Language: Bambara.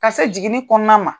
Ka se jiginni kɔnɔna ma.